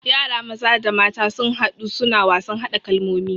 Yara maza da mata sun hadu suna wasan hada kalmomi